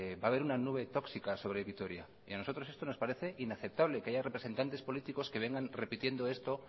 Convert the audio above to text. va a haber una nube tóxica sobre vitoria y a nosotros esto nos parece inaceptable que haya representantes políticos que vengan repitiendo esto